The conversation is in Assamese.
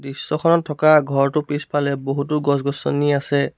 দৃশ্যখনত থকা ঘৰটোৰ পিছফালে বহুতো গছ গছনি আছে।